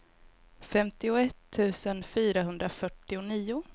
femtioett tusen fyrahundrafyrtionio